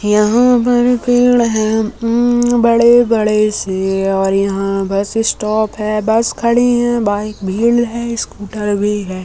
यहाँ पर पेड़ हैं अम बड़े बड़े से और यहाँ बस स्टॉप है बस खड़ी हैं। बाहर भीड़े है बाइक भी है स्कूटर भी है।